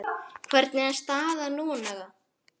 Hvernig er staðan núna?